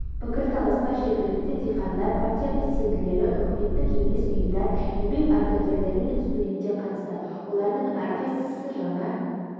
пікірталасқа жергілікті диқандар партия белсенділері үкіметтік емес ұйымдар еңбек ардагерлері мен студенттер қатысты олардың әрқайсысы жаңа